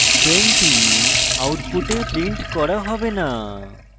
20 output printed করা হবে না